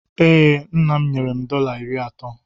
Ee, nna m nyere m dọla iri atọ.